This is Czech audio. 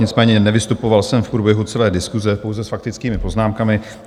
Nicméně nevystupoval jsem v průběhu celé diskuse, pouze s faktickými poznámkami.